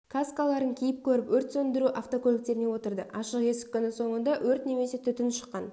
каскаларын киіп көріп өрт сөндіру автокөліктеріне отырды ашық есік күні соңында өрт немесе түтін шыққан